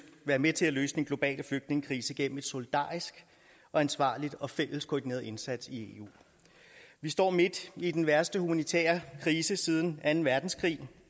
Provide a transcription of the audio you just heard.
være med til at løse den globale flygtningekrise gennem en solidarisk og ansvarlig og fælles koordineret indsats i eu vi står midt i den værste humanitære krise siden anden verdenskrig